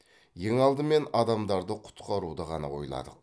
ең алдымен адамдарды құтқаруды ғана ойладық